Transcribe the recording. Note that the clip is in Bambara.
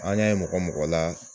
An y'a ye mɔgɔ mɔgɔ la